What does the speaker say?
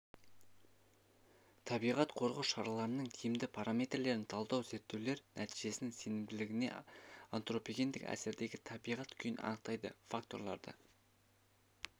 табиғат қорғау шараларының тиімді параметрлерін талдау зерттеулер нәтижесінің сенімділігіне антропогендік әсердегі табиғат күйін анықтайтын факторларды